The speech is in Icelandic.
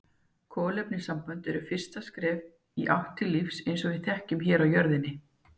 Kolefnissambönd eru fyrsta skrefið í átt til lífs eins og við þekkjum hér á jörðinni.